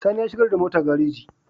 Sani ya shigar da mota gareji